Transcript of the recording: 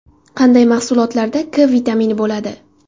Qanday mahsulotlarda K vitamini bo‘ladi?